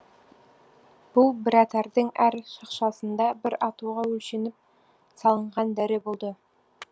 бұл біратардың әр шақшасында бір атуға өлшеніп салынған дәрі болды